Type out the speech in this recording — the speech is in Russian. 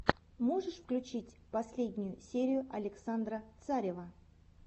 можешь включить последнюю серию александра царева